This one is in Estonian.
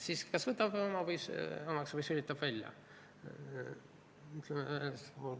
Keel kas võtab midagi omaks või sülitab välja.